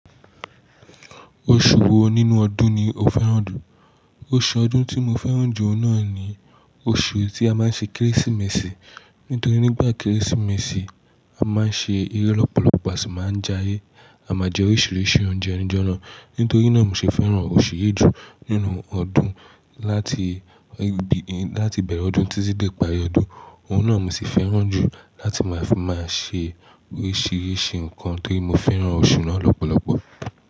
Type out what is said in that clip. Oṣù wo nínú ọdún ni o fẹ́ràn jù? Oṣù ọdún tí mo fẹ́ràn jù náà ni oṣù tí a máa ń ṣe Kérésìmesì. Nítorí nígbà Kérésìmesì, a máa ń ṣe eré lọ́pọ̀lọpọ̀, a sì máa ń jayé. A máa jẹ oríṣìíríṣìí oúnjẹ ni ijọ́na. Nítorí náà mo ṣe fẹ́ràn oṣù yí ju nínú ọdún. Láti, láti ibẹ̀rẹ̀ ọdún títí dé ìparí ọdún, òhun náà mo sì fẹ́ràn jù láti máa fi máa ṣe oríṣìíríṣìí nkan torí mo fẹ́ràn oṣù náà lọ́pọ̀lọpọ̀.